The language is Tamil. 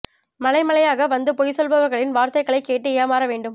மலை மலையாக வந்து பொய் சொல்பவர்களின் வார்த்தைகளை கேட்டு ஏமாற வேண்டும்